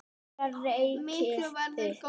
Mikið værirðu góður.